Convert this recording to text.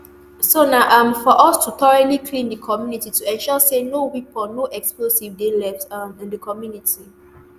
so na um for us to thoroughly clean di community to ensure say no weapon no explosive dey left um in di community